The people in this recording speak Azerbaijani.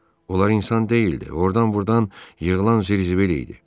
Onlar insan deyildi, ordan-burdan yığılan zırzıbıl idi.